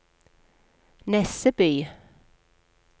Nesseby